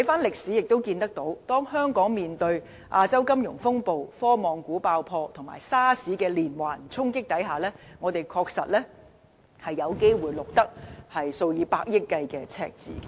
歷史亦告訴我們，如果香港面對亞洲金融風暴、科網股爆破及 SARS 的連環衝擊，我們的確有機會錄得數以百億元計的赤字。